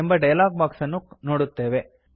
ಎಂಬ dialogue box ಅನ್ನು ನೋಡುತ್ತೇವೆ